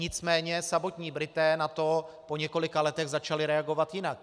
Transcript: Nicméně samotní Britové na to po několika letech začali reagovat jinak.